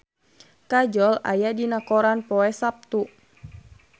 Kajol aya dina koran poe Saptu